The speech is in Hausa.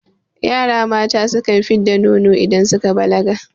Yara mata sukan fid da nono idan suka balaga